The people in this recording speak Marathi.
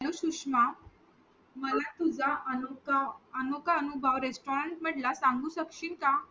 hallo सुषमा मला तुझा अनोखा अनुभव restaurant मधला सांगू शेकशील का